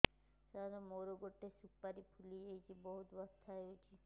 ସାର ମୋର ଗୋଟେ ସୁପାରୀ ଫୁଲିଯାଇଛି ବହୁତ ବଥା ହଉଛି